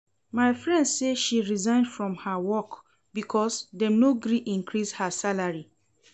My friend say she resign from her work because dem no gree increase her salary